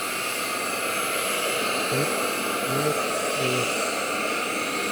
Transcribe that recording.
шесть девять девять